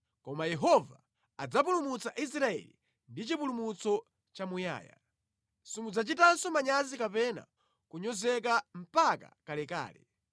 Koma Yehova adzapulumutsa Israeli ndi chipulumutso chamuyaya; simudzachitanso manyazi kapena kunyozeka mpaka kalekale.